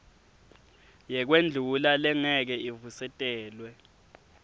yekwendlula lengeke ivusetelwe